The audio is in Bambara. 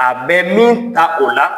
A bɛ min ta o la